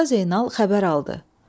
Usta Zeynal xəbər aldı: